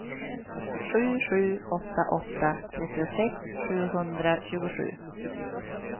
sju sju åtta åtta trettiosex sjuhundratjugosju